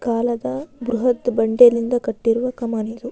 ಕಾಲದ ಬ್ರಹತ್ ಬಂಡೆ ಯಿಂದ ಕಟ್ಟಿರುವ ಕಾಮನ್ ಇದು.